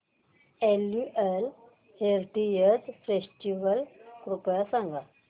annual heritage festival कृपया सांगा